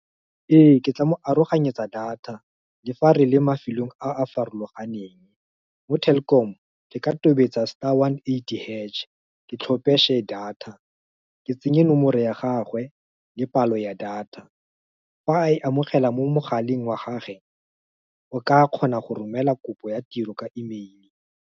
Ee ke tla mo aroganyetsa data le fa re le mafelong a a farologaneng. Mo Telkom ke ka tobetsa star one eighty hash, ke tlhompe data. Ke tsenye nomoro ya gagwe, le palo ya data fa e amogela mo mogaleng wa gagwe, o ka kgona go romela kopo ya tiro ka email-e.